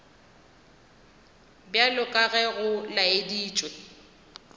bjalo ka ge go laeditšwe